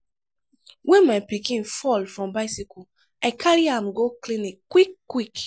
wen my pikin fall from bicycle i carry am go clinic quick-quick.